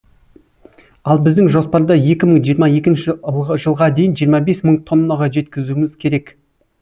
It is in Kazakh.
ал біздің жоспарда екі мың жиырма екінші жылға дейін жиырма бес мың тоннаға жеткізуіміз керек